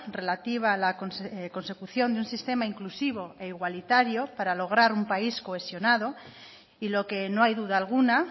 relativa a la consecución de un sistema inclusivo e igualitario para lograr un país cohesionado y lo que no hay duda alguna